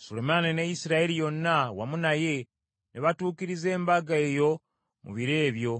Sulemaani ne Isirayiri yonna wamu naye, ne batuukiriza embaga eyo mu biro ebyo,